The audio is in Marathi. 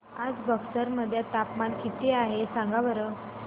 आज बक्सर मध्ये तापमान किती आहे सांगा बरं